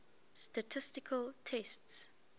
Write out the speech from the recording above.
statistical tests